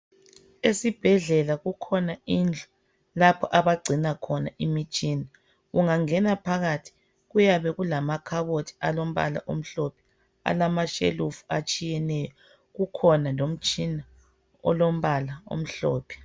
Esibhedlela kukhona indlu lapho abangcina khona imitshina, ungangena phakathi kuyabe kulamakhabothi alompala omhlophe alamashelufu atshiyeneyo kukhona lomtshina olombala omhlophe.